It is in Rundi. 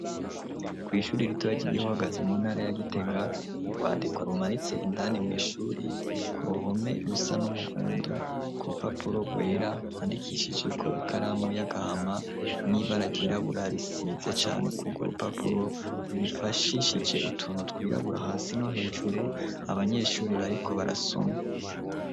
Kw'ishuri ritoraja igihohagazi mu ntara yagitega urwandiko arumaritse indani mw'ishuri ku ruhome rusa n'umuhundo kurupapuro rwera handikishijeko ikaramu y'agahama n'iba aragirabura risize cane kugwo rupapuro nibifashishije utunu twirabura hasi no hejuru abanyeeshuri bariko barasoma.